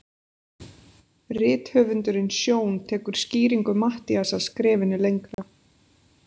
Rithöfundurinn Sjón tekur skýringu Matthíasar skrefinu lengra.